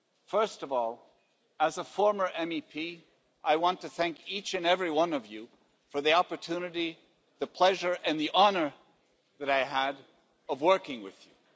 First of all, as a former MEP, I want to thank each and every one of you for the opportunity, the pleasure and the honour that I had of working with you.